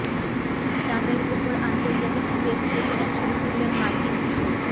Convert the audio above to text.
চাঁদের ওপর আন্তর্জাতিক স্পেস স্টেশনের ছবি তুললেন মার্কিন কিশোর